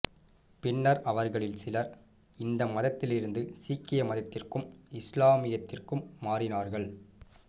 பின்னர் அவர்களில் சிலர் இந்து மதத்திலிருந்து சீக்கிய மதத்திற்கும் இஸ்லாத்திற்கும் மாறினார்கள்